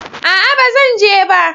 Aa, ba zan je ba